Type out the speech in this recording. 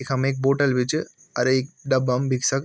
इखम एक बोतल भी च अर एक डब्बा म विक्स क --